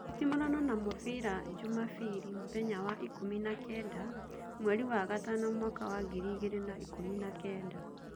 Nditimũrano na mũbira njumabiri mũthenya was ikũmi na kenda, mweri wa gatano mwaka was ngiri igĩrĩ na ikũmi na kenda